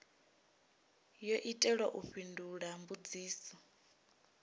yo itelwa u fhindula mbudziso